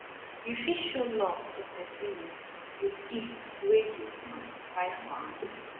you fit show love to persin um with gift wey you um buy for am